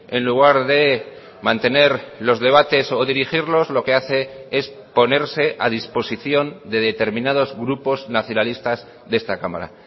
en lugar de mantener los debates o dirigirlos lo que hace es ponerse a disposición de determinados grupos nacionalistas de esta cámara